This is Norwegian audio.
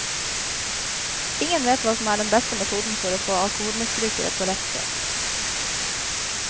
Ingen vet hva som er den beste metoden for å få alkoholmisbrukere på rett kjøl.